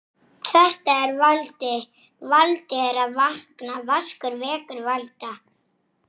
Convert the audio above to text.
Fleiri en einn í einu?